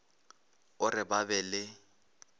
o re ba be le